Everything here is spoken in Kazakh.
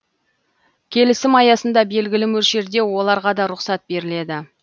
келісім аясында белгілі мөлшерде оларға да рұсат беріледі